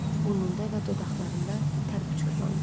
Burnunda və dodaqlarında tərpşurlandı.